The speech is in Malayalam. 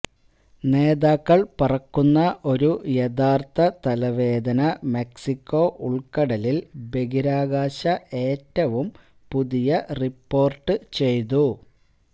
നേതാക്കൾ പറക്കുന്ന ഒരു യഥാർത്ഥ തലവേദന മെക്സിക്കോ ഉൾക്കടലിൽ ബഹിരാകാശ ഏറ്റവും പുതിയ റിപ്പോർട്ട് ചെയ്തു